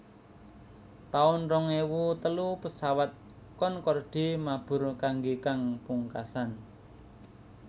taun rong ewu telu Pesawat Concorde mabur kanggé kang pungkasan